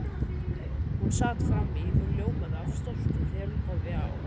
Hún sat frammí og ljómaði af stolti þegar hún horfði á